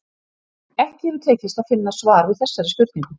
Ekki hefur tekist að finna svar við þessari spurningu.